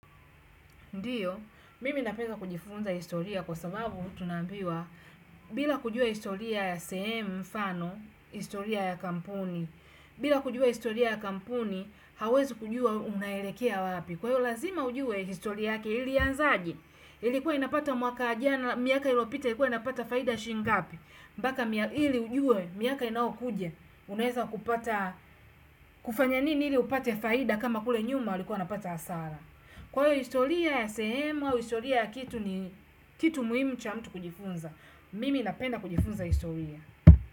Ndiyo, mimi napeza kujifunza historia kwa sababu tunaambiwa bila kujua historia ya sehemu mfano, historia ya kampuni. Bila kujua historia ya kampuni, hauwezi kujua unaelekea wapi. Kwa hiyo lazima ujue historia yake ilianzaje, ilikuwa inapata mwaka jana, miaka ilopita ilikuwa inapata faida ya shingapi. Mpaka ili ujue, miaka inaokuja, unaweza kupata, kufanya nini ili upate faida kama kule nyuma walikuwa wanapata hasara. Kwa hiyo historia ya sehemu au historia ya kitu ni kitu muhimu cha mtu kujifunza. Mimi napenda kujifunza historia.